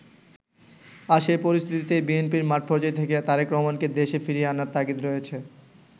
আর সেই পরিস্থিতিতেই বিএনপির মাঠপর্যায় থেকে তারেক রহমানকে দেশে ফিরিয়ে আনার তাগিদ রয়েছে।